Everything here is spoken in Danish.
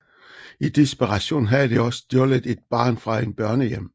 I desperation havde de også stjålet et barn fra en børnehjem